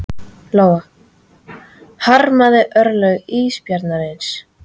Lóa: Harmarðu örlög ísbjarnarins?